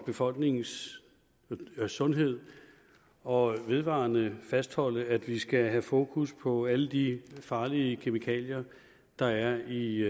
befolkningens sundhed og vedvarende fastholde at vi skal have fokus på alle de farlige kemikalier der er i